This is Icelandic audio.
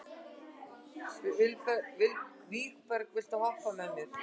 Vígberg, viltu hoppa með mér?